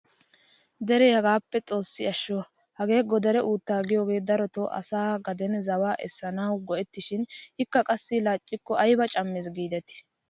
Dere hagaappe xoossi ashsho! hagee godare uuttaa giyoogee darotoo asay gaden zawaa essanawu go"eteshin ikka qassi laaccikko ayba cammes gidetii!